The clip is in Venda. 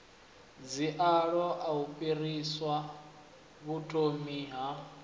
dziaho u fhirsisa vhuthomi ha